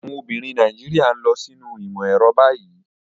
Àwọn obìnrin Nàìjíríà ń lọ sínú ìmọ̀ ẹ̀rọ báyìí.